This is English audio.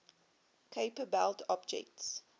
kuiper belt objects